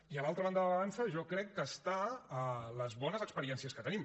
i a l’altra banda de la balança jo crec que està les bones experiències que tenim